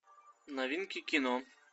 новинки кино